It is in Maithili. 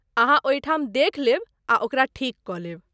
अहाँ ओहिठाम देखि लेब आ ओकरा ठीक कऽ लेब।